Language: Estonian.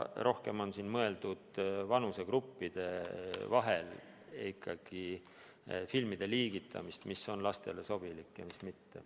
Rohkem on siin ikkagi mõeldud filmide liigitamist vanusegruppide kaupa, selle järgi, mis on lastele sobilik ja mis mitte.